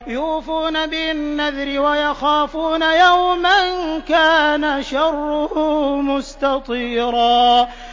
يُوفُونَ بِالنَّذْرِ وَيَخَافُونَ يَوْمًا كَانَ شَرُّهُ مُسْتَطِيرًا